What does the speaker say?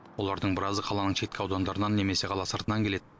олардың біразы қаланың шеткі аудандарынан немесе қала сыртынан келеді